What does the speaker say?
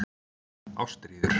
Ástríður